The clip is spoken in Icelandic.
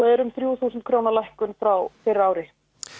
er um þrjú þúsund króna lækkun frá fyrra ári